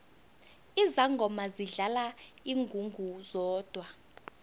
izangoma zidlala ingungu zodwa